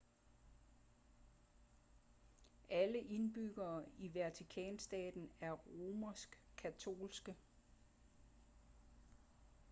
alle indbyggere i vatikanstaten er romersk katolske